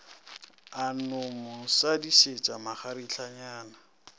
a no mo šadišetša makgaritlanyana